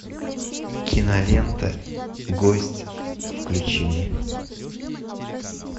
кинолента гость включи мне